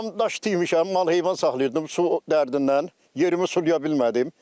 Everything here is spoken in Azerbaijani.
Damdaş deyibmişəm, mal-heyvan saxlayırdım, su dərdindən yerimi sulaya bilmədim.